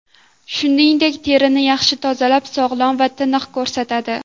Shuningdek, terini yaxshi tozalab, sog‘lom va tiniq ko‘rsatadi.